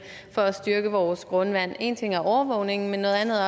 for at styrke vores grundvand én ting er overvågning men noget andet